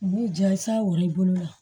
U b'i ja i sago i bolo la